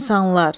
İnsanlar.